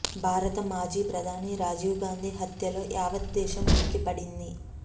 భారత మాజీ ప్రధాని రాజీవ్ గాంధీ హత్యతో యావత్ దేశం ఉలిక్కిపడింది